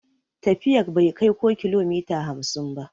Tafiyar bai kai ko kilomita hamsin ba.